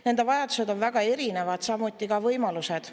Nende vajadused on väga erinevad, samuti võimalused.